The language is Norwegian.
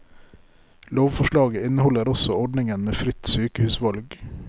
Lovforslaget inneholder også ordningen med fritt sykehusvalg.